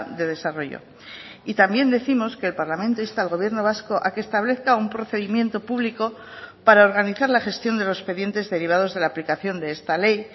de desarrollo y también décimos que el parlamento insta al gobierno vasco a que establezca un procedimiento público para organizar la gestión de los expedientes derivados de la aplicación de esta ley